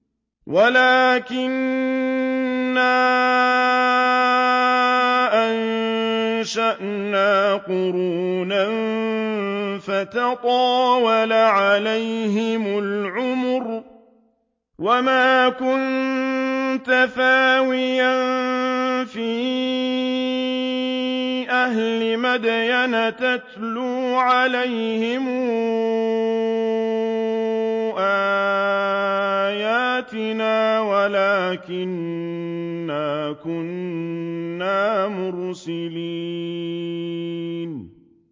وَلَٰكِنَّا أَنشَأْنَا قُرُونًا فَتَطَاوَلَ عَلَيْهِمُ الْعُمُرُ ۚ وَمَا كُنتَ ثَاوِيًا فِي أَهْلِ مَدْيَنَ تَتْلُو عَلَيْهِمْ آيَاتِنَا وَلَٰكِنَّا كُنَّا مُرْسِلِينَ